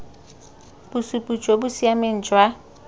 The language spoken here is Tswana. bosupi jo bo siameng jwa